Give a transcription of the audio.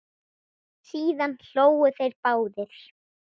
Síðan hlógu þeir báðir.